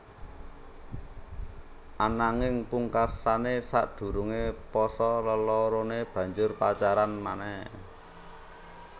Ananging pungkasané sadurungé pasa leloroné banjur pacaran manéh